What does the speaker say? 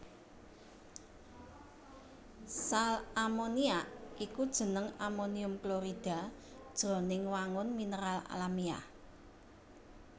Sal ammoniac iku jeneng amonium klorida jroning wangun mineral alamiah